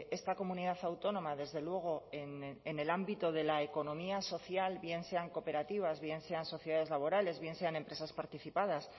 esta comunidad autónoma desde luego en el ámbito de la economía social bien sean cooperativas bien sean sociedades laborales bien sean empresas participadas